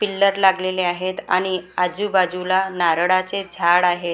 Pillar लागलेले आहेत आणि आजूबाजूला नारळाचे झाड आहेत.